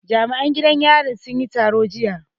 Jami'an gidan yari sun yi taro jiya